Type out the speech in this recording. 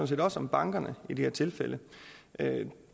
set også om bankerne i det her tilfælde